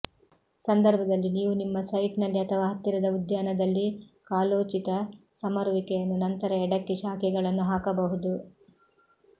ಸಂದರ್ಭದಲ್ಲಿ ನೀವು ನಿಮ್ಮ ಸೈಟ್ನಲ್ಲಿ ಅಥವಾ ಹತ್ತಿರದ ಉದ್ಯಾನದಲ್ಲಿ ಕಾಲೋಚಿತ ಸಮರುವಿಕೆಯನ್ನು ನಂತರ ಎಡಕ್ಕೆ ಶಾಖೆಗಳನ್ನು ಹಾಕಬಹುದು